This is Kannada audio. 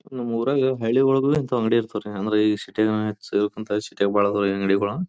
ನಮ್ಮೂರಾಗೆ ಹಳ್ಳಿ ಒಳಗೂವೇ ಇಂತ ಅಂಗಡಿ ಇರ್ತಾವೆರಿ ಅಂದ್ರೆ ಇಷ್ಟೇ ಬಾಳದವು ಅಂಗಡಿಗಳು.